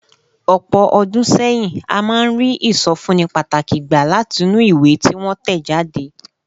Ọ̀pọ̀ ọdún sẹ́yìn, a máa ń rí ìsọfúnni pàtàkì gbà látinú ìwé tí wọ́n tẹ̀ jáde.